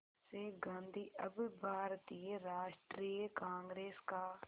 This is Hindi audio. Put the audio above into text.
से गांधी अब भारतीय राष्ट्रीय कांग्रेस का